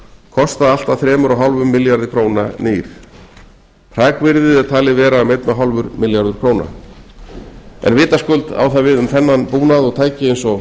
kosta allt að þremur og hálfum milljarði króna nýr hrakvirði er um einn og hálfur milljarður króna tekið skal fram að sumt af búnaði og